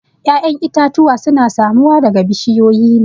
ya'yan itatuwa suna samuwa daga bushiyoyi ne